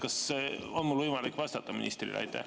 Kas on mul võimalik vastata ministrile?